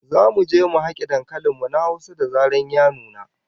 Zamu je mu hake dankalin mu na Hausa da zarar ya nuna